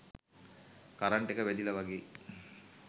current එක වැදිලා වගේ